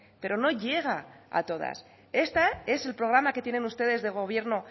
pero no llega a todas este es el programa que tienen ustedes de gobierno